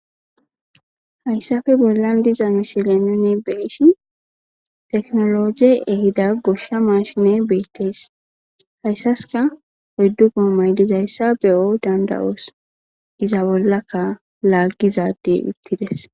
hayssafe bollan diza misilenine beeshi teknologie ehida goshsha maashine beettees hayssaska oyddu guomaydizayssa beyo danda7oos iza bollaka laaggizadey uttides